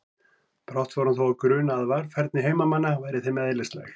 Brátt fór hann þó að gruna að varfærni heimamanna væri þeim eðlislæg.